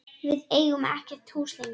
Við eigum ekkert hús lengur.